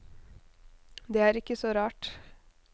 Det er ikke så rart.